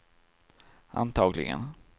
antagligen